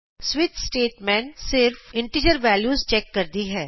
switch statement ਸਿਰਫ਼ integer values check ਕਰ ਸਕਦੀ ਹੈ